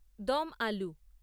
দম আলু